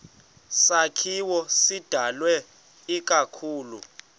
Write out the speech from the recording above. sakhiwo sidalwe ikakhulu